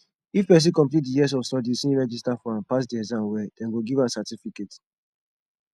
if person complete di years of studies im register for and pass di exams well dem go give am certificate